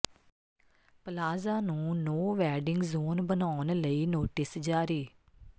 plaza ਨੂੰ no vending zone ਬਣਾਉਣ ਲਈ ਨੋਟਿਸ ਜਾਰੀ